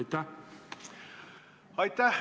Aitäh!